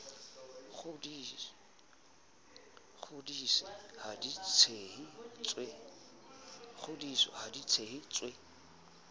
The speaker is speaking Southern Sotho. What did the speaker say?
kgodise ha di tshehe tswe